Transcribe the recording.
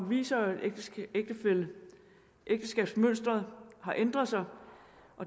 viser at ægteskabsmønsteret har ændret sig